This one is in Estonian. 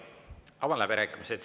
Avan läbirääkimised.